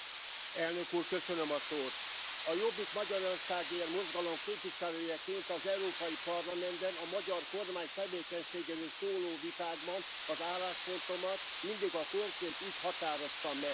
Elnök Úr, a Jobbik Magyarországért mozgalom képviselőjeként az Európai Parlamentben a magyar kormány tevékenységéről szóló vitákban az álláspontomat mindig a konkrét ügy határozta meg.